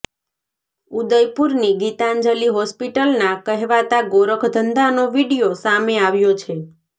ઉદયપુરની ગીતાંજલિ હોસ્પિટલનાં કહેવાતા ગોરખધંધાનો વીડિયો સામે આવ્યો છે